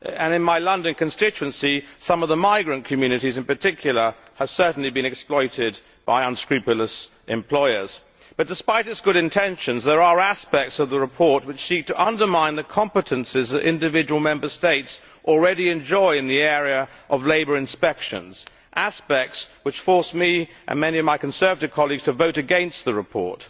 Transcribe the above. In my London constituency some of the migrant communities, in particular, have certainly been exploited by unscrupulous employers. However, despite its good intentions, there are aspects of the report which seek to undermine the competencies that individual Member States already enjoy in the area of labour inspections, aspects which forced me and many of my Conservative colleagues to vote against the report.